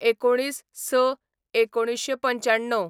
१९/०६/१९९५